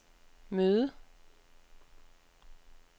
møde